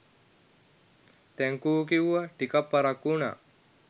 Thank you කිව්වා.ටිකක් පරක්කු වුනා.